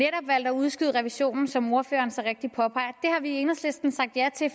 valgt at udskyde revisionen som ordføreren så rigtigt påpeger har vi i enhedslisten sagt ja til